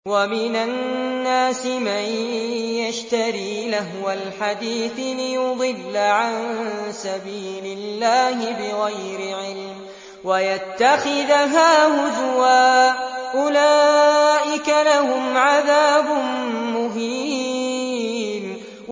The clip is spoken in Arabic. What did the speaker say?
وَمِنَ النَّاسِ مَن يَشْتَرِي لَهْوَ الْحَدِيثِ لِيُضِلَّ عَن سَبِيلِ اللَّهِ بِغَيْرِ عِلْمٍ وَيَتَّخِذَهَا هُزُوًا ۚ أُولَٰئِكَ لَهُمْ عَذَابٌ مُّهِينٌ